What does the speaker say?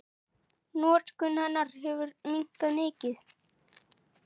Notkun hennar hefur minnkað mikið.